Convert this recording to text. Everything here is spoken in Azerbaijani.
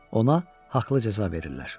Ona haqlı cəza verirlər.